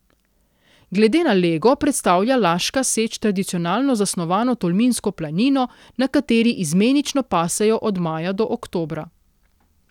Glede na lego predstavlja Laška seč tradicionalno zasnovano tolminsko planino, na kateri izmenično pasejo od maja do oktobra.